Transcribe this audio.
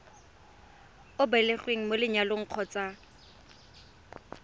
o belegweng mo lenyalong kgotsa